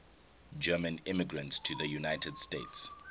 german immigrants to the united states